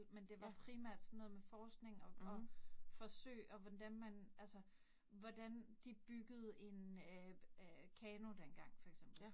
Men det var primært sådan noget med forskning, og og forsøg og hvordan man altså, hvordan de byggede en øh øh kano dengang for eksempel